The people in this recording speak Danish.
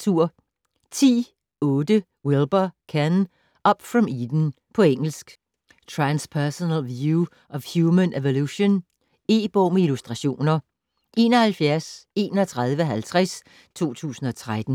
10.8 Wilber, Ken: Up from Eden På engelsk. Transpersonal view of human evolution. E-bog med illustrationer 713150 2013.